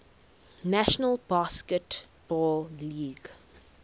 national basketball league